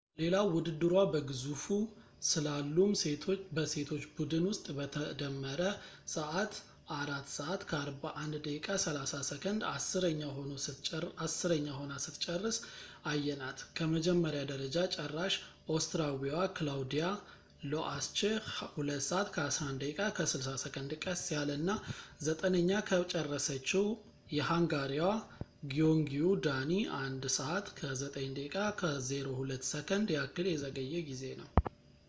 ሌላው ውድድሯ በግዙፉ ስላሉም በሴቶች ቡድን ውስጥ በተደመረ ሰዓት 4:41.30 ዐሥረኛ ሆና ስትጨርስ አየናት፣ ከመጀመሪያ ደረጃ ጨራሽ ኦስትሪያዊዋ ክላውዲያ ሎአስችህ 2:11.60 ቀስ ያለ እና ዘጠነኛ ከጨረሰችው የሃንጋሪዋ ግዮንግዪ ዳኒ 1:09.02 ያክል የዘገየ ጊዜ ነው